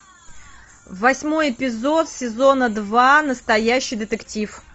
восьмой эпизод сезона два настоящий детектив